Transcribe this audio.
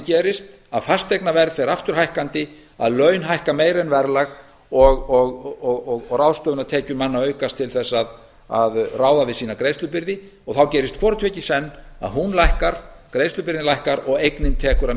gerist að fasteignaverð fer aftur hækkandi að laun hækka meira en verðlag og ráðstöfunartekjur manna aukast til þess að ráða við sína greiðslubyrði þá gerist hvort tveggja í senn að greiðslubyrðin lækkar og eignin tekur að